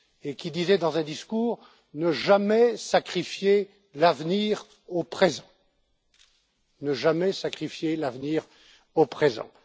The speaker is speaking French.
qui disait, dans un discours, Ne jamais sacrifier l'avenir au présent.